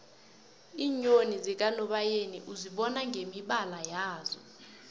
iinyoni zakanobayeni uzibona ngemibala yazo